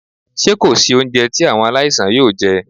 Ṣé kò sí oúnjẹ tí àwọn aláìsàn yóò jẹ́?